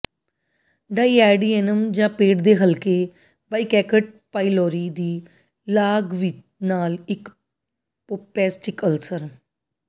ਡਾਈਆਡੀਏਨਮ ਜਾਂ ਪੇਟ ਦੇ ਹਲਕੇ ਬਾਇਕੈਕਟ ਪਾਈਲੋਰੀ ਦੀ ਲਾਗ ਨਾਲ ਇੱਕ ਪੇਸਟਿਕ ਅਲਸਰ